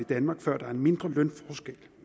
i danmark før der er en mindre lønforskel